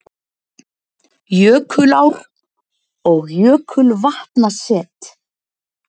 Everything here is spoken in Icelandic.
Jökulár- og jökulvatnaset